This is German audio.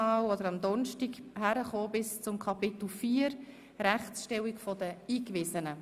Wir berieten bis zu Kapitel vier, «Rechtsstellung der Eingewiesenen».